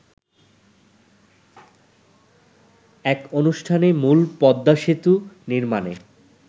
এক অনুষ্ঠানে মূলপদ্মা সেতু নির্মাণে